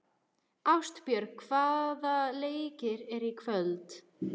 Ástbjörg, hvaða leikir eru í kvöld?